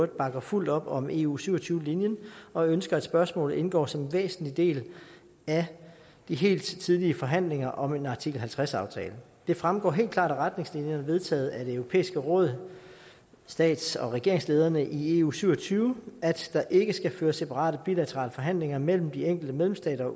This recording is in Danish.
bakker fuldt op om eu syv og tyve linjen og ønsker at spørgsmålet indgår som en væsentlig del af de helt tidlige forhandlinger om en artikel halvtreds aftale det fremgår helt klart af retningslinjerne vedtaget af det europæiske råd stats og regeringslederne i eu syv og tyve at der ikke skal føres separate bilaterale forhandlinger mellem de enkelte medlemsstater